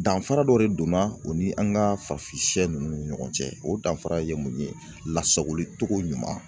Danfara dɔ de donna o ni an ka farafin sɛ nunnu ni ɲɔgɔn cɛ , o danfara ye mun ye lasagoli cogo ɲuman